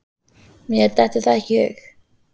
Mér dettur það ekki í hug.